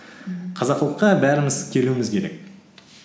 қазақылыққа бәріміз келуіміз керек